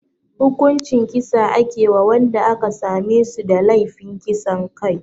Hukuncin kisa ake wa wanda aka same su da laifin kisan kai